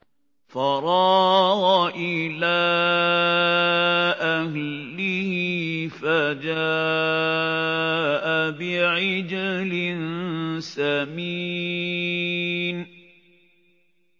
فَرَاغَ إِلَىٰ أَهْلِهِ فَجَاءَ بِعِجْلٍ سَمِينٍ